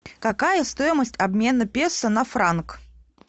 какая стоимость обмена песо на франк